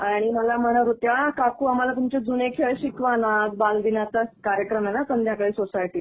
आणि मला म्हणत होत्या, काकू आम्हाला तुमचे जूने खेळ शिकवा ना. आज बालदिनाचा कार्यक्रम आहे ना संध्याकाळी सोसायटीत